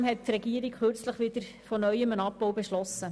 Trotzdem hat die Regierung wieder von neuem einen Abbau beschlossen.